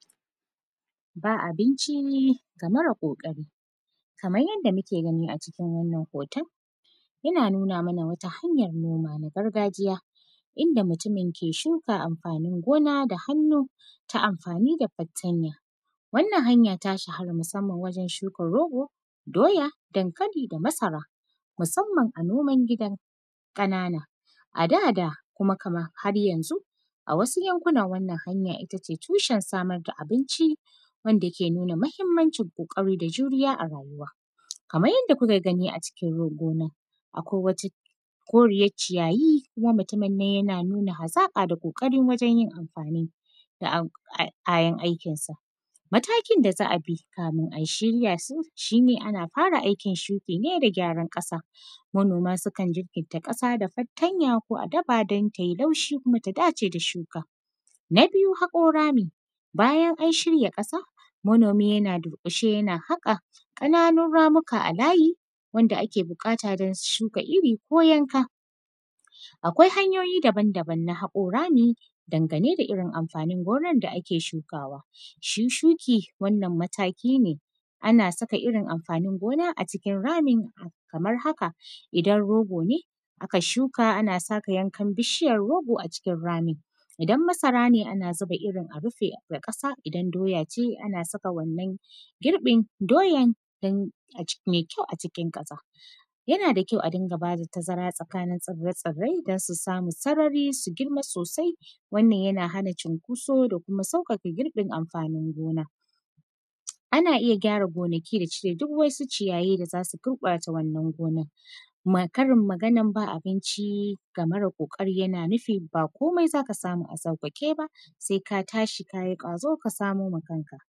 Ba abinci, ga mara ƙoƙari. Kaman yanda muke gani a cikin wannan hoton, yana nuna mana wata hanyar noma na gargajiya, inda mutumin ke shuka amfanin gona da hannu, ta amfani da fartanya. Wannan hanya, ta shhara, musamman wajen shuka rogo, doya, dankali da masara, musamman a noman gida ƙanana. A da da, kuma kaman har yanzu, a wasu yankuna, wannan hanya ita ce tushen samar da abinci wanda ke nuna mahimmancin ƙoƙari da juriya a rayuwa. Kaman yanda kuka gani a cikin n; gona, akwai wata koriyac ciyayi, kuma mutumin nan yana nuna hazaƙa da ƙoƙari wajen yinamfani da am; ai; kayan aikinsa. Matakin da za a bi, kamin a shirya sun, shi ne ana fara aikin shuki ne da gyaran ƙasa. Manoma sukan jirkinta ƙasa da fartanya ko a dafa dan tai laushi, kuma ta dace da shuka. Na biyu, haƙo rami, bayan an shirya ƙasa, manomi yana durƙushe yana haƙa ƙananun ramika a layi, wanda ake biƙata don shuka iri ko yanka. Akwai hanyoyi daban-daban na haƙo rami dangane da irin amfanin gonan da ake shukawa. Shi shuki, wannan mataki ne, ana saka irin amfanin gona a cikin ramin kamar haka. Idan rogo ne aka shuka, ana saka yankan bishiyar rogo a cikin rami. Idan masara ne, ana ziba irin a rife da ƙasa. Idan doya ce, ana saka wannan girƃin doyan dan, aci; me kyau a cikin ƙasa. Yana da kyau a dinga ba da tazara tsakanin tsire-tsirrai, don su samu sarari su girma sosai. Wannan, yana hana cunkoso da kuma sauƙaƙa girƃin amfanin gona. Ana iya gyara gonaki da cire duk wasu ciyayi da za su gurƃata wannan gona. Kuma, Karin maganan ba abinci ga marar ƙoƙari, yana nufin ba komai za ka samu a sauƙaƙe ba. Se ka tashi ka yi ƙwazo, ka samo ma kanka.